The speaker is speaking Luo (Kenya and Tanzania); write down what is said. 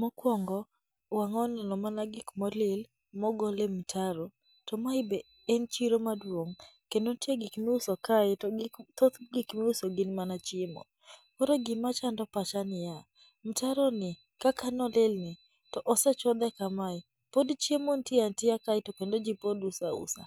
Mokuongo wang'aa oneno mana gik molil ma ogol e mtaro. To mae be en chiro maduong' to nitie gik ma iuoso kae, to gik mi thoth gik miuso gin mana chiemo. Koro gima chando pacha niya, mtaroni kaka nolilni , to osechodhe kamae pod chiemo nitie atiea kae to kendo ji pod uso ausa.